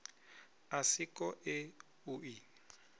a si koe u i